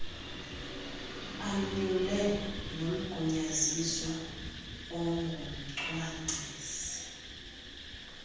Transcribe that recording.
anyule nomgunyaziswa ongumcwangcisi